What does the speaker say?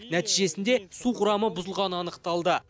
нәтижесінде су құрамы бұзылғаны анықталды